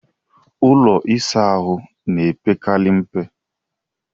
Ụlọ ịsa ahụ na-epekarị mpe.